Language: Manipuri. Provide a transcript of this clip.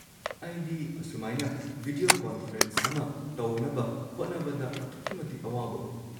ꯑꯩꯗꯤ ꯑꯁꯨꯃꯥꯏꯅ ꯚꯤꯗꯤꯌꯣ ꯀꯣꯟꯐ꯭ꯔꯦꯟꯁ ꯑꯃ ꯇꯧꯅꯕ ꯍꯣꯠꯅꯕꯗ ꯑꯗꯨꯛꯀꯤ ꯃꯇꯤꯛ ꯑꯋꯥꯕ ꯑꯣꯏ꯫